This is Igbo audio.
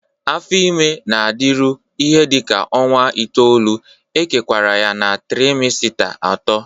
Afo ime na-adịru ihe dị ka ọnwa itoolu,e kewara ya na trimesita atọ.